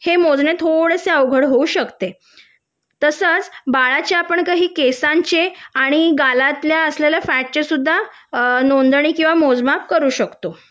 हे मोजणे थोडेसे अवघड होऊ शकते तसेच बाळाच्या आपण काही केसांचे आणि गालातल्या असलेल्या फॅटचे सुद्धा नोंदणी किंवा मोजमाप करू शकतो